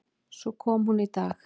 Svo kom hún í dag.